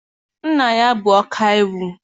Nna ya bụ ọkaiwu.